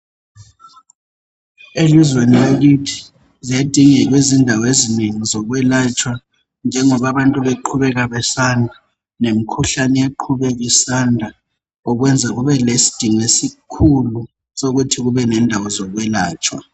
Elizweni lakithi ziyadingeka izindawo ezinengi zokwelatshwa njengoba bantu beqhubeka besanda lemikhuhlane iyaqhubeka isanda okwenza kube lesidingo esikhulu sokuthi kube lendawo zokwelatshwa.